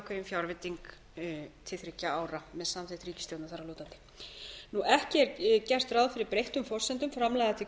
ákveðin fjárveiting til þriggja ára með samþykki ríkisstjórnarinnar þar að lútandi ekki er gert ráð fyrir breyttum forsendum framlaga til